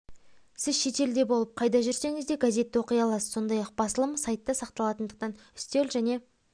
сіз шетелде болып қайда жүрсеңіз де газетті оқи аласыз сондай-ақ басылым сайтта сақталатындықтан үстел және